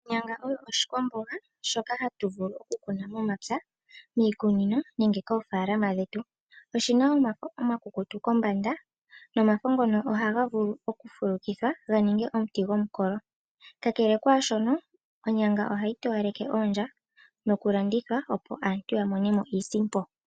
Onyanga oyo oshikwamboga shoka hatu vulu oku kuna momapya, miikunino nenge koofaalama dhetu. Oshina omafo omakukutu kombanda nomafo ngono ohaga vulu oku fulukithwa ga ninge omuti gomukolo, ka kele kwaashono onyanga ohayi towaleke oondja noku landithwa aantu ya mone mo iisimpo.